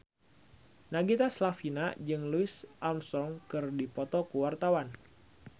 Nagita Slavina jeung Louis Armstrong keur dipoto ku wartawan